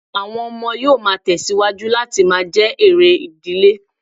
Àwọn ọmọ yóò má tẹ̀ síwájú láti máa jẹ́ èrè ìdílé